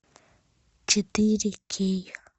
четыре кей